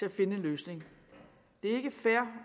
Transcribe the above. at finde en løsning det er ikke fair